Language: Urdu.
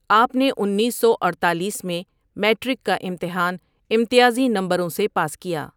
آپ نے انیس سو اڈتالیس میں میٹرک کا امتحان امتیازی نمبروں سے پاس کیا۔